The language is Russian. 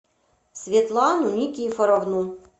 светлану никифоровну